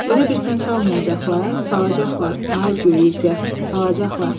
Elə bil sən salmayacaqlar, salacaqlar, ay göy Ürgə, salacaqlar.